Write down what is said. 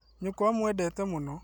Nyũkwa aamwendete mũno